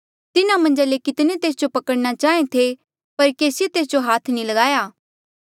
तिन्हा मन्झा ले कितने तेस जो पकड़ना चाहें थे पर केसिए तेस जो हाथ नी लगाया